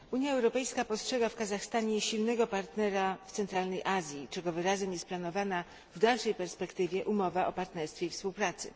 Unia Europejska postrzega w Kazachstanie silnego partnera w Centralnej Azji, czego wyrazem jest planowana w dalszej perspektywie umowa o partnerstwie i współpracy.